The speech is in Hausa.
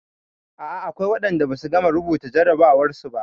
A'a akwai waɗanda ba su gama rubuta jarrabawarsu ba.